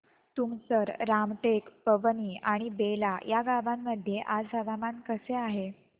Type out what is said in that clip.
तुमसर रामटेक पवनी आणि बेला या गावांमध्ये आज हवामान कसे आहे